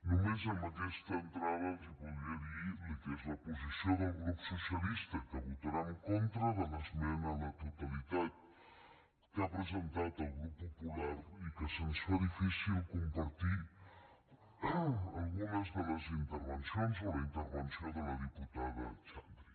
només amb aquesta entrada els podria dir el que és la posició del grup socialista que votarà en contra de l’esmena a la totalitat que ha presentat el grup popular i que se’ns fa difícil compartir algunes de les intervencions o la intervenció de la diputada xandri